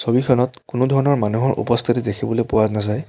ছবিখনত কোনোধৰণৰ মানুহৰ উপস্থিতি দেখিবলৈ পোৱা নাযায়।